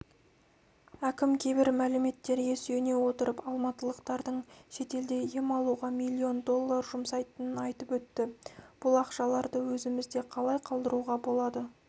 әкім кейбір мәліметтерге сүйене отырып алматылықтардың шетелде ем алуға миллион доллар жұмсайтынын айтып өтті бұл ақшаларды өзімізде қалай қалдыруға болады